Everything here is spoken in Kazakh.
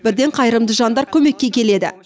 бірден қайырымды жандар көмекке келеді